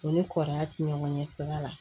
U ni kɔrɔkɛ ti ɲɔgɔn ɲɛ sira la